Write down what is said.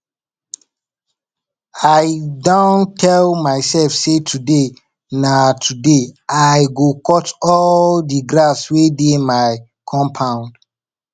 i don tell my self say today na today i go cut all the grass wey dey my compound